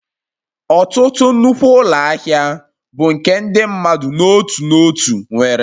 Ọtụtụ nnukwu ụlọ ahịa bụ nke ndị mmadụ n'otu n'otu nwere